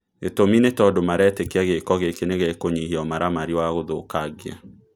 Gĩtũmi nĩ tondũ maretĩkia gĩko gĩkĩ nĩgĩkũnyihia ũmaramari wagũthũkangia